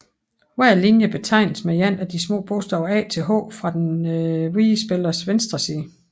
Hver linje betegnes med et af de små bogstaver a til h fra den hvide spillers venstre side